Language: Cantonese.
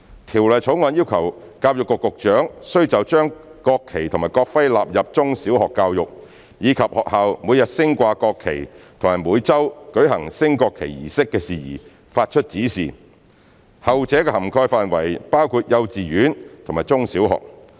《條例草案》要求教育局局長須就將國旗及國徽納入中小學教育，以及學校每日升掛國旗及每周舉行升國旗儀式的事宜發出指示，後者的涵蓋範圍包括幼稚園和中小學。